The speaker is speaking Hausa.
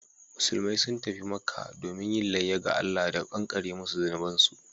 Musulmai sun tafi Makkah domin yin layya ga Allah da kankare musu zunubansu